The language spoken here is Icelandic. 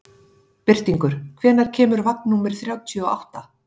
Birtingur, hvenær kemur vagn númer þrjátíu og átta?